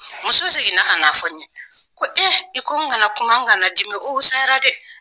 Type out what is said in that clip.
Muso seginna ka na fɔ n ye, ko i ko n kana kuma, n kana dimi o fusayara dɛ.